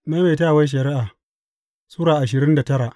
Maimaitawar Shari’a Sura ashirin da tara